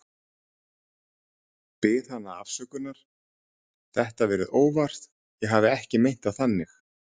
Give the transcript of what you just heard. Bið hana afsökunar, þetta verið óvart, ég hafi ekki meint það þannig.